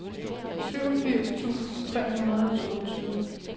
syvogfirs tusind tre hundrede og toogtyve